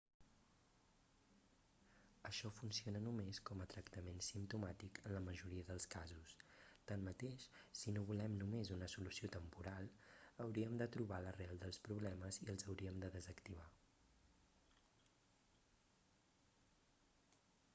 això funciona només com a tractment simptomàtic en la majoria dels casos tanmateix si no volem només una solució temporal hauríem de trobar l'arrel dels problemes i els hauríem de desactivar